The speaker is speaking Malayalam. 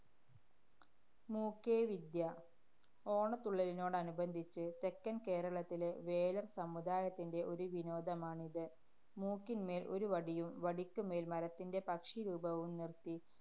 മൂക്കേവിദ്യ. ഓണത്തുള്ളലിനോടനുബന്ധിച്ച് തെക്കന്‍ കേരളത്തിലെ വേലര്‍ സമുദായത്തിന്‍റെ ഒരു വിനോദമാണിത്. മൂക്കിന്‍മേല്‍ ഒരു വടിയും, വടിക്ക് മേല്‍ മരത്തിന്‍റെ പക്ഷിരൂപവും നിര്‍ത്തി